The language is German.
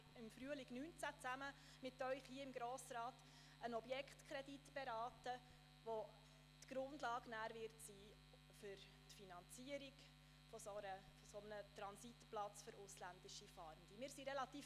Im Frühling 2019 möchte ich mit Ihnen zusammen gerne einen Objektkredit beraten, der die Grundlage für die Finanzierung eines Transitplatzes für ausländische Fahrende bilden wird.